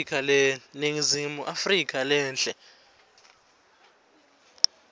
ningizimu afrika lenhle